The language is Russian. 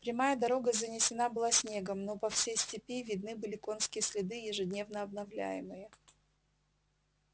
прямая дорога занесена была снегом но по всей степи видны были конские следы ежедневно обновляемые